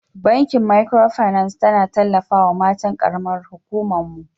Bankin Micro finance tana tallafawa matan karamar huƙuman mu.